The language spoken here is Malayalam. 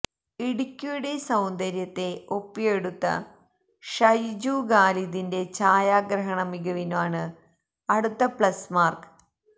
ഇടുക്കിയുടെ സൌന്ദര്യത്തെ ഒപ്പിയെടുത്ത ഷൈജു ഖാലിദിന്റെ ഛായാഗ്രഹണ മികവിനാണ് അടുത്ത പ്ലസ് മാര്ക്ക്